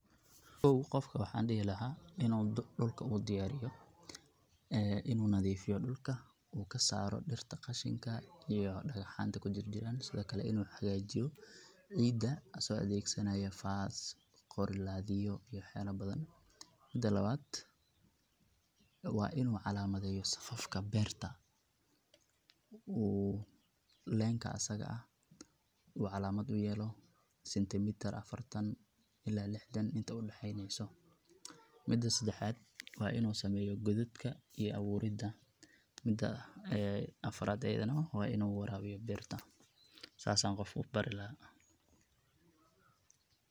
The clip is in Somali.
Kow qofka waxaan dihi laha inu dulka u diyaariyo inu nadiifiyo dulka u kasaro dirta qashinka iyo dagaxaanta kujirjiraan sidokale inu hagaajiyo ciida asago adeegsanayo faas qorilaadiyo iyo waxyaala badan mida lawaad waa inu calaamadeyo safafka beerta uu leenka asaga ah u calaamad uyeelo sentimitar afartan ila lixdan inta udaxeyneyso mida sadexaad waa inu sameeyo godadka iyo abuurinta mida afaraad ayadana waa inu waraabiyo beerta sas aan qof ubari laha.